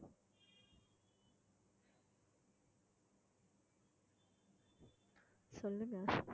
சொல்லுங்க